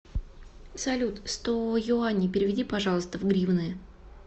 салют сто юаней переведи пожалуйста в гривны